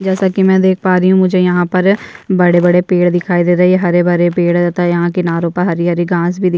जैसा की मे देख पा रही हूँ मुझे यहाँ पर बड़े-बड़े पेड़ दिखाई दे रहे है हरे-भरे पेड़ तथा यहाँ किनारो पर हरी-हरी घास भी दिख --